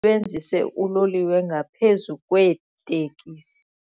sebenzise uloliwe ngaphezu kweetekisi.